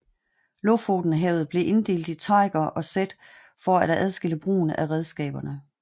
Lofotenhavet blev inddelt i teiger og sæt for for at adskille brugen af redskaberne